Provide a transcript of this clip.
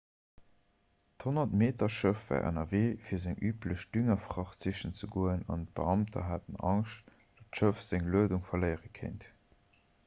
d'100-meter-schëff war ënnerwee fir seng üblech düngerfracht sichen ze goen an d'beamter haten angscht datt d'schëff seng luedung verléiere kéint